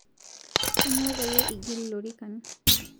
Aanyo payie ingil lorikan?